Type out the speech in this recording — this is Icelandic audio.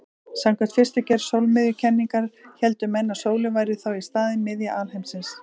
Samkvæmt fyrstu gerð sólmiðjukenningarinnar héldu menn að sólin væri þá í staðinn miðja alheimsins.